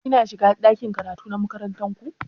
Ki na shiga ɗakin karatu na makarantar ku?